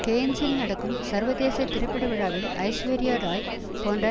கேன்ஸில் நடக்கும் சர்வதேச திரைப்பட விழாவில் ஐஸ்வர்யாராய் போன்ற